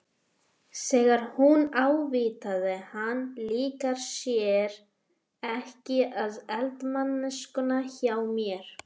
Þegar hún ávítaði hann- Líkar þér ekki við eldamennskuna hjá mér?